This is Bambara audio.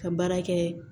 Ka baara kɛ